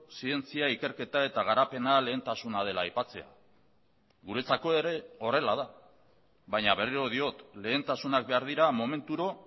zientzia ikerketa eta garapena lehentasuna dela aipatzea guretzako ere horrela da baina berriro diot lehentasunak behar dira momenturo